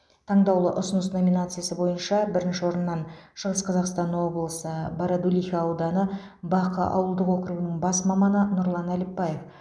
таңдаулы ұсыныс номинациясы бойынша бірінші орыннан шығыс қазақстан облысы бородулиха ауданы бақы ауылдық округінің бас маманы нұрлан әліпбаев